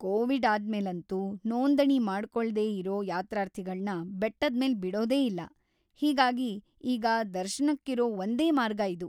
Covid ಆದ್ಮೇಲಂತೂ, ನೋಂದಣಿ ಮಾಡ್ಕೊಳ್ದೇ ಇರೋ ಯಾತ್ರಾರ್ಥಿಗಳ್ನ ಬೆಟ್ಟದ್ಮೇಲ್ ಬಿಡೋದೇ ಇಲ್ಲ. ಹೀಗಾಗಿ ಈಗ ದರ್ಶನಕ್ಕಿರೋ ಒಂದೇ ಮಾರ್ಗ ಇದು.